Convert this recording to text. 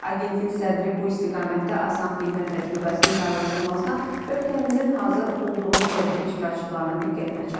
Agentlik sədri bu istiqamətdə asan xidmət təcrübəsinin paylaşılmasına ölkəmizin hazır olduğunu tədbir iştirakçılarının diqqətinə çatdırıb.